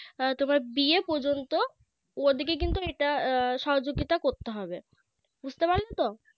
তোমার বিয়ে পর্যন্ত ওদিকে কিন্তু এটা সহযোগিতা করতে হবে বুঝতে পারলে তো